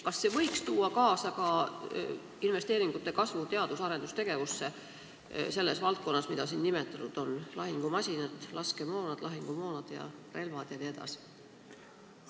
Kas see seadus võiks tuua kaasa ka investeeringute kasvu teadus- ja arendustegevusse selles valdkonnas, mida siin nimetatud on – lahingumasinad, laskemoon, lahingumoon, relvad jne?